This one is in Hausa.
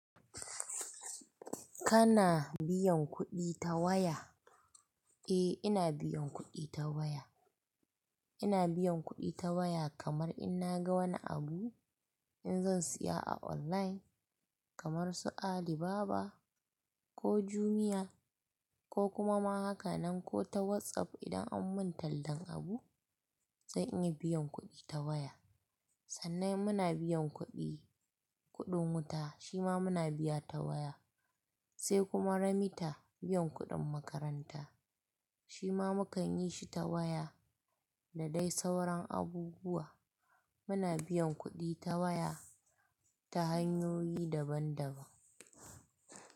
Kana biyan kuɗi ta waya? Eh ina biyan kuɗi ta waya. Ina biyan kuɗi ta waya kamar in naga wani abu, in zan siya a online kamar su Alibaba ko Jumia ko kuma ma haka nan ko ta WhatsApp idan an mun tallan abu, zan yi biyan kuɗi ta waya. Sannan muna biyan kuɗi, kuɗin wuta shima muna biya ta waya, sai kuma remita, biyan kuɗin makaranta shima mukan yi shi ta waya da dai sauran abubuwa. Muna biyan kuɗi ta waya ta hanyoyi daban daban.